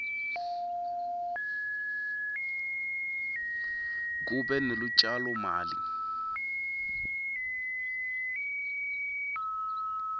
kube nelutjalo mali